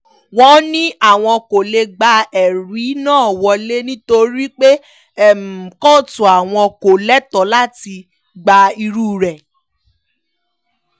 wọ́n ní àwọn kò lè gba ẹ̀rí náà wọ́lẹ̀ nítorí pé kóòtù àwọn kò lẹ́tọ̀ọ́ láti gba irú rẹ̀